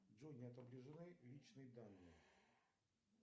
джой не отображены личные данные